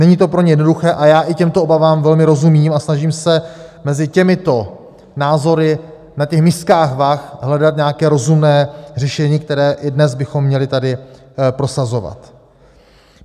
Není to pro ně jednoduché a já i těmto obavám velmi rozumím a snažím se mezi těmito názory na těch miskách vah hledat nějaké rozumné řešení, které i dnes bychom měli tady prosazovat.